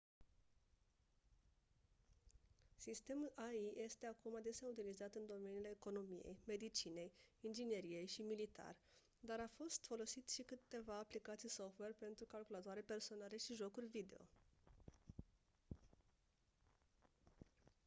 sistemul ai este acum adesea utilizat în domeniile economiei medicinei ingineriei și militar dar a fost folosit și câteva aplicații software pentru calculatoare personale și jocuri video